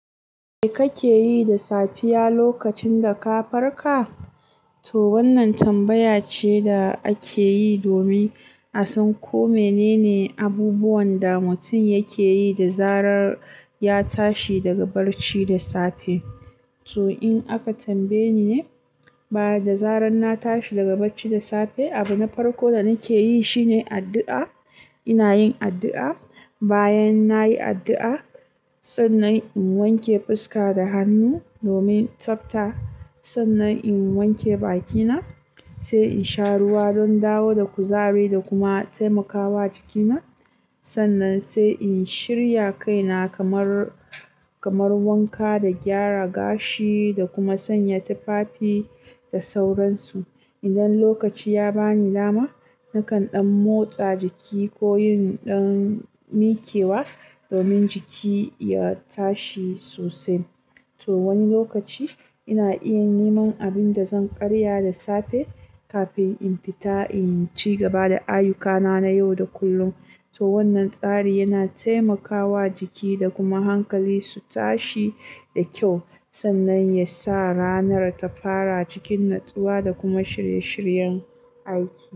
Me kake yi da safiya lokacin da ka farka? To wannan tambaya ce da ake yi domin a san ko menene abubuwan da mutum yake yi da zarar ya tashi daga barci da safe. To in aka tambaye ni ne, bada zarar na tashi daga barci da safe, abu na farko da nake yi shine addu'a. Ina yin addu'a. Bayan nayi addu'a, sannan in wanke fuska da hannu domin tsafta. Sannan in wanke bakina, sai in sha ruwa don dawo da kuzari da kuma taimakawa jikina. Sannan sai in shirya kaina kamar, kamar wanka da gyara gashi da kuma sanya tufafi da sauransu. Idan lokaci ya bani dama, nakan ɗan motsa jiki ko yin ɗan mikewa domin jiki ya tashi sosai. To wani lokaci ina iya neman abin da zan karya da safe kafin in fita in ci gaba da ayyukana na yau da kullum. To wannan tsari yana taimakawa jiki da kuma hankali su tashi da kyau, sannan ya sa ranar ta fara a cikin natsuwa da kuma shirye-shiryen aiki.